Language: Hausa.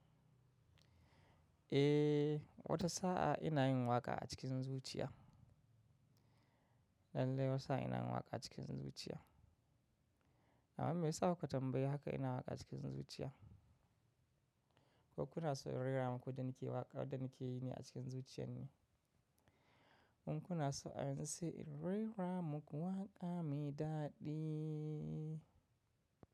Eh, wata sa'a ina yin waƙa a cikin zuciya. Lalle wanisa ina waƙa cikin zuciya. Amma me ya sa kuka tambayi haka ina waƙa cikin zuciya? Ko kuna so in rera muku yanda nakewaƙa da nake yi ne a cikin zuciyar ne? In kuna so a yanzu sai in rera muku waƙa mai daɗi?